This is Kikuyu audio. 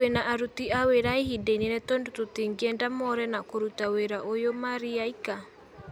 Twina aruti a wĩra a ihinda inene tondũ tũtingĩenda moore na kũruta wĩra ũyũ marĩaika."